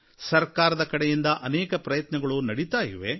ಸರಕಾರದ ಕಡೆಯಿಂದ ಅನೇಕ ಪ್ರಯತ್ನಗಳು ನಡೀತಾ ಇವೆ